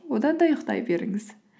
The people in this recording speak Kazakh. одан да ұйықтай беріңіз